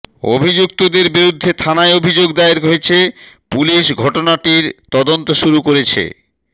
অভিযুক্তদের বিরুদ্ধে থানায় অভিযোগ দায়ের হয়েছে পুলিশ ঘটনাটির তদন্ত শুরু করেছে